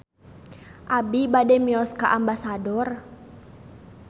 Abi bade mios ka Ambasador